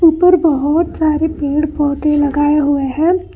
पर बहोत सारे पेड़ पौधे लगाए हुए हैं।